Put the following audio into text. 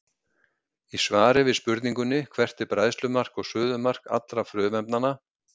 Í svari við spurningunni Hvert er bræðslumark og suðumark allra frumefnanna?